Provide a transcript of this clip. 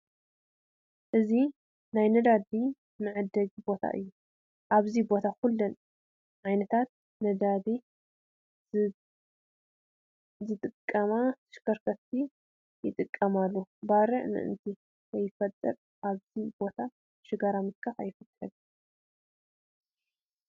እዚ ናይ ነዳዲ መዐደሊ ቦታ እዩ፡፡ ኣብዚ ቦታ ኩለን ዓይነት ነዳዲ ዝጥቀማ ተሽከርከርቲ ይጥቀማሉ፡፡ ባርዕ ምእንታን ከይፍጠር ኣብዚ ቦታ ሽጋራ ምትካኽ ኣይፍቀድን፡፡